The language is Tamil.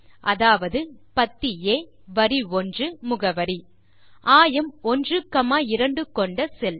அதாவது பத்தி ஆ வரி 1 முகவரி ஆயம் 12 கொண்ட செல்